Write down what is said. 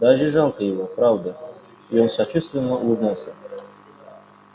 даже жалко его правда я сочувственно улыбнулся